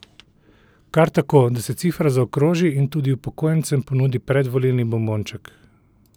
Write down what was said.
Kar tako, da se cifra zaokroži in tudi upokojencem ponudi predvolilni bombonček?